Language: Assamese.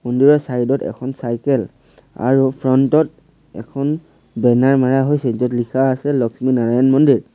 মন্দিৰৰ চাইড ত এখন চাইকেল আৰু ফ্ৰণ্ট ত এখন বেনাৰ হৈছে য'ত লিখা আছে লস্মী নাৰায়ণ মন্দিৰ।